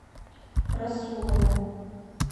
расулову